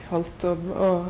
kvöld og